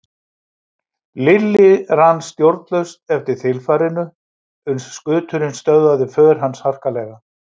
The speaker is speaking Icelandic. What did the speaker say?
Lilli rann stjórnlaust eftir þilfarinu uns skuturinn stöðvaði för hans harkalega.